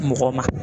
Mɔgɔ ma